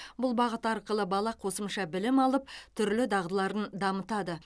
бұл бағыт арқылы бала қосымша білім алып түрлі дағдыларын дамытады